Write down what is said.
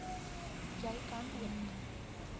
jy kan ook